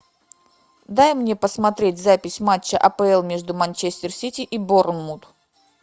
дай мне посмотреть запись матча апл между манчестер сити и борнмут